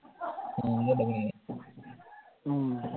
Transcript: ഉം